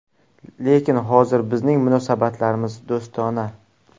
Lekin hozir bizning munosabatlarimiz do‘stona.